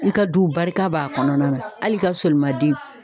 I ka du barika b'a kɔnɔna na ,hali i ka sɔlimaden